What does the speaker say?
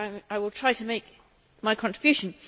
I will try to make my contribution.